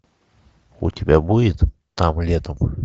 у тебя будет там летом